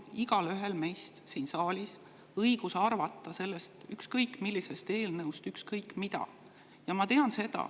Igaühel meist siin saalis on õigus arvata ükskõik millisest eelnõust ükskõik mida.